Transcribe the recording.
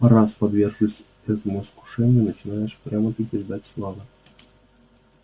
раз подвергшись этому искушению начинаешь прямо-таки ждать славы